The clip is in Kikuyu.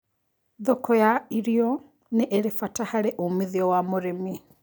Thoko ya irio ni ĩrĩ bata harĩ umithio wa mũrĩmi